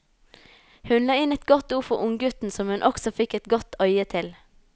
Hun la inn et godt ord for unggutten som hun også fikk et godt øye til.